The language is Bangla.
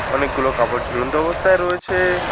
অনেকগুলো কাপড় ঝুলন্ত অবস্থায় রয়েছে।